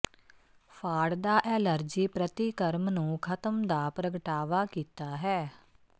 ਫਾੜਦਾ allergy ਪ੍ਰਤੀਕਰਮ ਨੂੰ ਖਤਮ ਦਾ ਪ੍ਰਗਟਾਵਾ ਕੀਤਾ ਹੈ